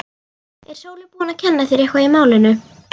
Er Sóley búin að kenna þér eitthvað í málinu?